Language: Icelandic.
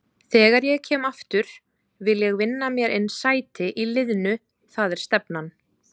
Þegar ég kem aftur vil ég vinna mér inn sæti í liðnu, það er stefnan.